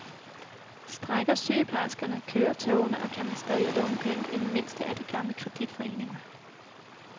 Strejker sygeplejerskerne, kører togene og kan man stadig låne penge i den mindste af de gamle kreditforeninger?